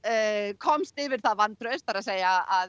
komst yfir það vantraust það er að